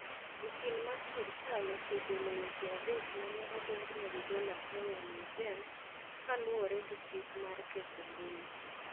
Okil mar sirkal osegolo weche adek ma ne odonjnegigo Latoya Nugent kaluwore gi chik mar ketho mbui.